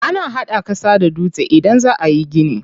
Ana hada ƙasa da dutse idan za ayi gini.